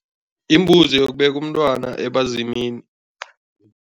Imbuzi yokubeka umntwana ebazimini.